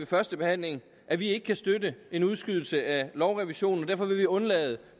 førstebehandlingen at vi ikke kan støtte en udskydelse af lovrevisionen og derfor vil vi undlade